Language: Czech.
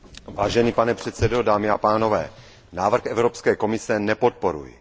Vážený pane předsedo, dámy a pánové, návrh Evropské komise nepodporuji.